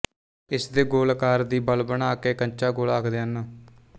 ਇਸਦੇ ਗੋਲ ਆਕਾਰ ਦੀ ਬਲ ਬਣਾ ਕੇ ਕੰਚਾਗੋਲਾ ਆਖਦੇ ਹਨ